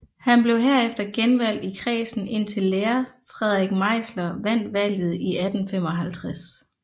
Han blev herefter genvalgt i kredsen indtil lærer Frederik Meisler vandt valget i 1855